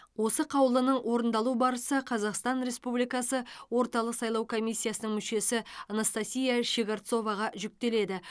осы қаулының орындалу барысы қазақстан республикасы орталық сайлау комиссиясының мүшесі анастасия щегорцоваға жүктеледі